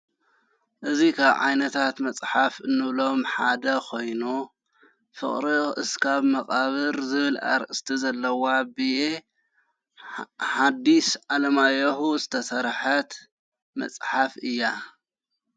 እዙ ዓይነታት መጽሓፍ እንብሎም ሓደ ኾይኖ ፍቕሪ እስካብ መቓብር ዝብል ስተሰርሐት ዘለዋ ብየ ሓዲስ ኣለማያሁ ዝተሠርሐት መጽሓፍ እያ።